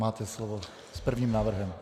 Máte slovo s prvním návrhem.